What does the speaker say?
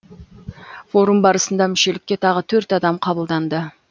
форум барысында мүшелікке тағы төрт адам қабылданды